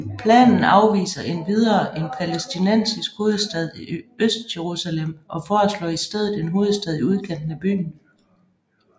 Planen afviser endvidere en palæstinensisk hovedstad i Østjerusalem og forslår i stedet en hovedstad i udkanten af byen